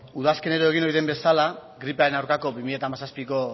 udazkenero egiten den bezala gripearen aurkako bi mila hamazazpiko